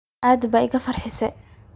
Aad ba igafarxise.